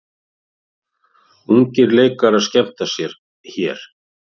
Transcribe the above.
Ungir leikarar skemmta sér hér